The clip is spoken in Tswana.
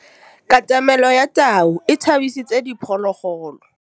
Katamêlô ya tau e tshabisitse diphôlôgôlô.